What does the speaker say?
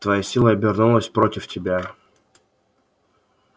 твоя сила обернулась против тебя